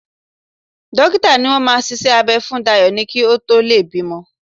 Dókítà ni wọ́n máa ṣiṣẹ́ abẹ́ fún Dayọ̀ ni kí ó tó lè bímọ